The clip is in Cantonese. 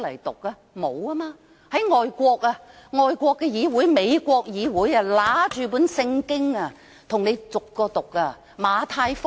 但在外國的議會，美國的議會議員會拿出聖經逐章讀出來。